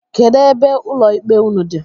Kedu ebe ụlọ ikpe ụnụ dị?